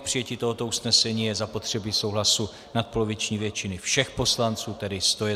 K přijetí tohoto usnesení je zapotřebí souhlasu nadpoloviční většiny všech poslanců, tedy 101 poslance.